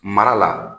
Mara la